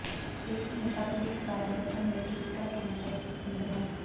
ਸੇਬ ਹਮੇਸ਼ਾ ਭਵਿੱਖ ਬਾਰੇ ਦੱਸਣ ਲਈ ਪ੍ਰਸਿੱਧ ਟੂਲ ਹੁੰਦੇ ਹਨ